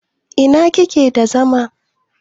in kike da zama?